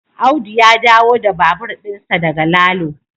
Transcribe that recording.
Audu ya dawo da babur dinsa daga Lalo